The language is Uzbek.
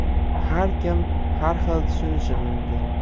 Har kim har xil tushunishi mumkin.